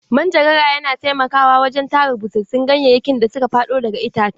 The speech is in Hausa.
Manjagara yana taimakawa wajen tara busassun ganyayyaki da suka faɗo daga ice.